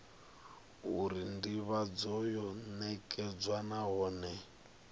uri ndivhadzo yo nekedzwa nahone